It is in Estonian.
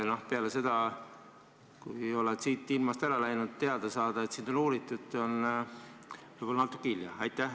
Kui ei ole siit ilmast ära läinud, siis pärast seda teada saada, et sind on uuritud, on võib-olla natuke hilja.